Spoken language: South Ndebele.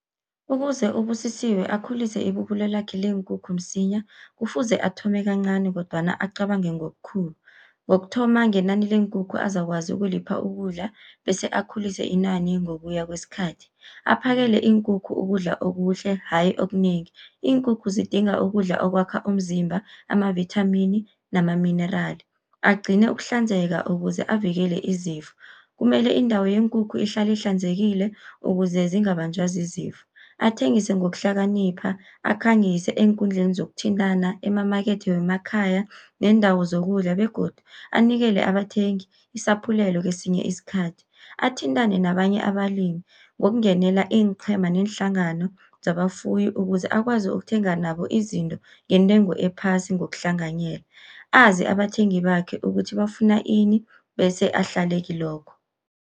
Ukuze uBusisiwe akhulise ibubulo lakhe leenkukhu msinya, kufuze athome kancani kodwana acabange ngobukhulu. Ngokuthoma ngenani leenkukhu azakwazi ukulipha ukudla, bese akhulise inani ngokuya kwesikhathi. Aphakele iinkukhu ukudla okuhle hayi okunengi, iinkukhu zidinga ukudla okwakha umzimba amavithamini namaminerali. Agcine ukuhlanzeka ukuze avikele izifo, kumele indawo yeenkukhu ihlale ihlanzekile ukuze zingabanjwa zizifo. Athengise ngokuhlakanipha, akhangise eenkundleni zokuthintana, emamakethe wemakhaya neendawo zokudla begodu anikele abathengi isaphulelo kesinye isikhathi. Athintane nabanye abalimi ngokungenela iinqhema neenhlangano zabafuyi, ukuze akwazi ukuthenga nabo izinto ngentengo ephasi ngokuhlanganyela. Azi abathengi bakhe ukuthi bafuna ini bese ahlale kilokho.